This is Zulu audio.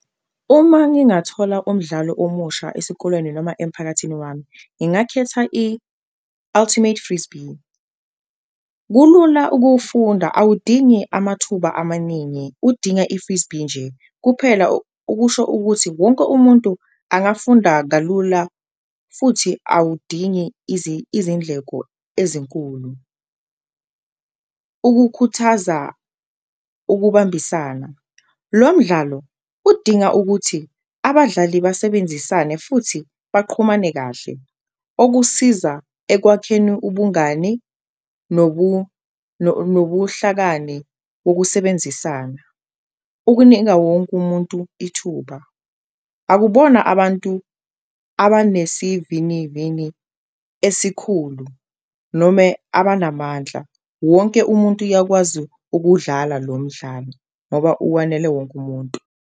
Uma ngingathola umdlalo omusha esikolweni noma emphakathini wami, ngingakhetha i-ultimate frisbee, kulula ukuwufunda awudingi amathuba amaningi udinga i-frisbee nje kuphela ukusho ukuthi wonke umuntu angafunda kalula futhi awudingi izindleko ezinkulu. Ukukhuthaza ukubambisana, lo mdlalo udinga ukuthi abadlali besebenzisane futhi baqhumane kahle okusiza ekwakheni ubungani nobuhlakani wokusebenzisana. Ukunika wonke umuntu ithuba akubona abantu abanesivinivini esikhulu noma abanamandla, wonke umuntu uyakwazi ukuwudlala lo mdlalo ngoba uwanele wonke umuntu.